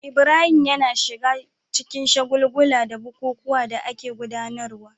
Ibrahim yana shiga cikin shagulgula da bukukuwan da ake gudanarwa